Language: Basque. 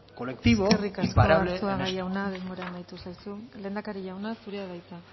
colectivo imparable en esto eskerrik asko arzuaga jauna denbora amaitu zaizu lehendakari jauna zurea da hitza